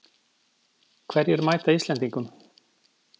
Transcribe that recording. Hverjir mæta Íslendingum